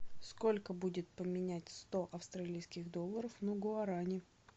сколько будет поменять сто австралийских долларов на гуарани